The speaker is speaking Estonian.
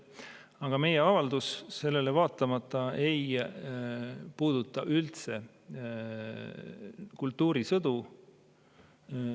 Aga meie avaldus ei puuduta üldse kultuurisõdu.